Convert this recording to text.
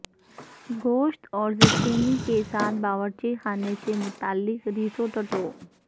گوشت اور زچینی کے ساتھ باورچی خانے سے متعلق رسوٹٹو